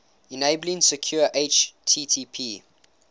enabling secure http